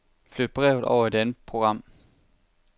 Flyt brevet over i et andet program.